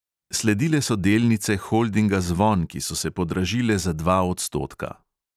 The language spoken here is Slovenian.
Sledile so delnice holdinga zvon, ki so se podražile za dva odstotka.